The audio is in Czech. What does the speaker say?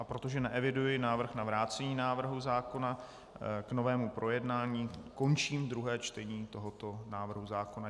A protože neeviduji návrh na vrácení návrhu zákona k novému projednání, končím druhé čtení tohoto návrhu zákona.